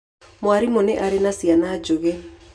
Mwarimũ arĩ na ciana njũgĩ.